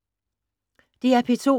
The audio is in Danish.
DR P2